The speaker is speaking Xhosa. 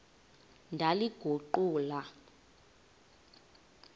ndaliguqula